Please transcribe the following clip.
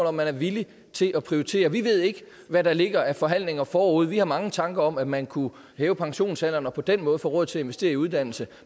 om man er villig til at prioritere vi ved ikke hvad der ligger af forhandlinger forude vi har mange tanker om at man kunne hæve pensionsalderen og på den måde få råd til at investere i uddannelse